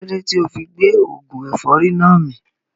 Kílódé tíì ofi gbé oògùn ẹ̀fọ́rì náà mì